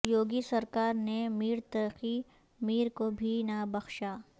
یوگی سرکار نے میر تقی میر کو بھی نہ بخشا